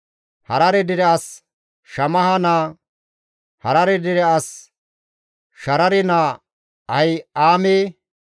Harare dere as Shammaha naa, Harare dere as Sharare naa Ahi7aame,